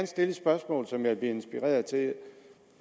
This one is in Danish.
stille et spørgsmål som jeg er blevet inspireret til